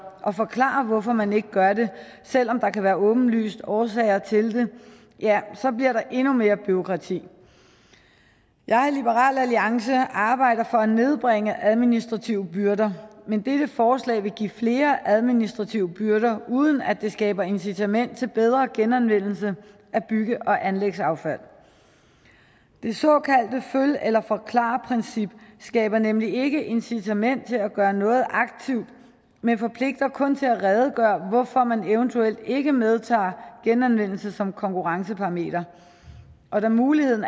og forklare hvorfor man ikke gør det selv om der kan være åbenlyse årsager til det ja så bliver det endnu mere bureaukrati i liberal alliance arbejder vi for at nedbringe administrative byrder men dette forslag vil give flere administrative byrder uden at det skaber incitament til bedre genanvendelse af bygge og anlægsaffald det såkaldte følg eller forklar princip skaber nemlig ikke incitament til at gøre noget aktivt men forpligter kun til at redegøre for hvorfor man eventuelt ikke medtager genanvendelse som konkurrenceparameter og da muligheden